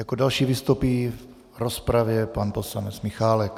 Jako další vystoupí v rozpravě pan poslanec Michálek